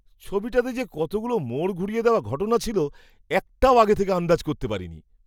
ছবিটাতে যে কতগুলো মোড় ঘুরিয়ে দেওয়া ঘটনা ছিল! একটাও আগে থেকে আন্দাজ করতে পারিনি।